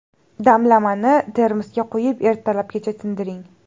Damlamani termosga quyib, ertalabgacha tindiring.